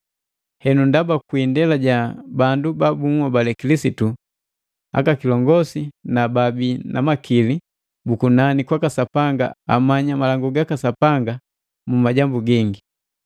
Henu ndaba, kwi indela ja bandu ba bunhobali Kilisitu, aka kilongosi na baabi na makili bu kunani kwaka Sapanga amanya malangu gaka Sapanga mu majambu gingi.